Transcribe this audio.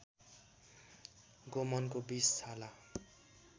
गोमनको विष छाला